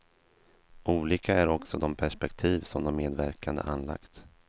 Olika är också de perspektiv som de medverkande anlagt.